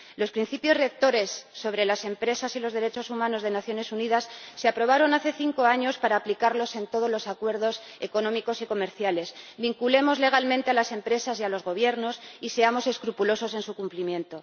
Los Principios Rectores sobre las empresas y los derechos humanos de las Naciones Unidas se aprobaron hace cinco años para aplicarlos en todos los acuerdos económicos y comerciales. Hagamos que estos sean legalmente vinculantes para las empresas y los Gobiernos y seamos escrupulosos en su cumplimiento.